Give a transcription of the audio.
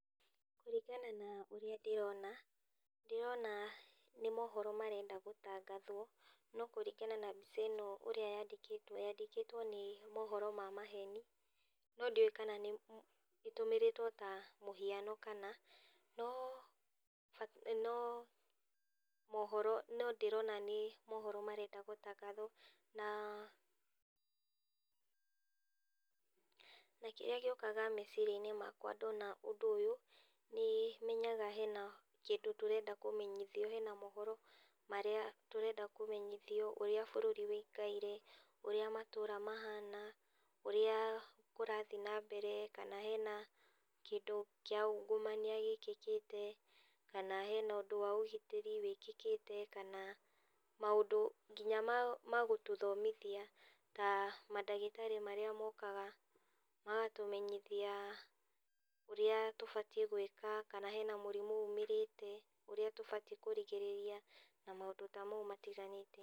Kũringana na ũria ndĩrona, ndĩrona nĩ mohoro marenda gũtangathwo, no kũringana na mbica ĩno ũria yandĩkĩtwo, yandĩkĩtwo nĩ mohoro ma maheni no ndiũĩ kana nĩ ĩtumĩrĩtwo ta mũhiano kana no mohoro. No ndĩrona nĩ mohoro marenda gũtangathwo. Na kĩria gĩũkaga meciriainĩ makwa ndona ũndũ ũyũ nĩmenyaga hena kĩndũ tũrenda kũmenyithio, hena mohoro marĩa tũrenda kũmenyithio ūrĩa bũrũri ũikaire, ũria matũra mahana, ũria kũrathiĩ na mbere kana hena kĩndũ kĩa ungumania gĩkĩkĩte kana hena ũndũ wa ũgitĩri wĩkĩkĩte kana maũndũ nginya ma gũtũthomithia, ta madagĩtarĩ marĩa mokaga magatũmenyithia ũria tũbatiĩ gũika kana hena mũrimũ umĩrĩte, ũria tũbatiĩ kũrigĩrĩria na maũndũ ta mau matiganĩte.